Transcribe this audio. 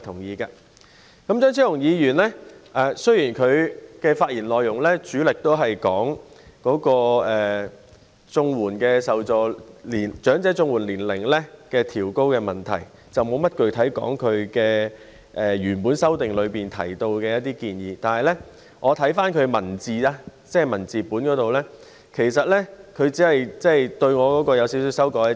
雖然張超雄議員的發言內容主要關於調高長者綜援的申請年齡問題，沒有具體談及他的修正案內的建議，但是，我查看其修正案的文字本內容，其實他只是對我的議案稍作修改。